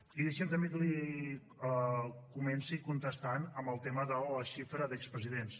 i deixi’m també que li comenci contestant amb el tema de la xifra d’expresidents